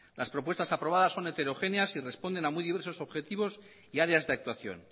las propuestas aprobadas son heterogéneas y responden a muy diversos objetivos y áreas de actuación